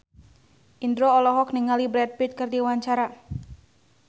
Indro olohok ningali Brad Pitt keur diwawancara